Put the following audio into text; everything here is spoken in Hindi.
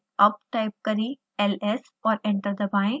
अब टाइप करें ls और एंटर दबाएं